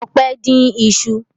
Ọpẹ́ dín iṣu?